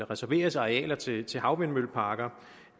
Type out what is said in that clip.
reserveres arealer til til havvindmølleparker